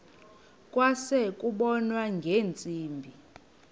kwase kubonwa ngeentsimbi